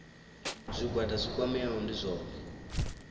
zwigwada zwi kwameaho ndi zwone